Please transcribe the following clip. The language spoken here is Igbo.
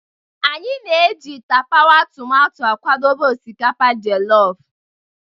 Anyị na-eji tapawa tomato akwadebe osikapa jollof.